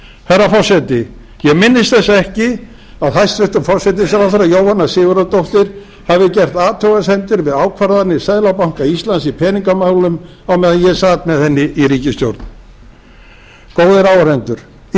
herra forseti ég minnist þess ekki að hæstvirtur forsætisráðherra jóhanna sigurðardóttir hafi gert athugasemdir við ákvarðanir seðlabanka íslands í peningamálum á meðan ég sat með henni í ríkisstjórn góðir áheyrendur illa var staðið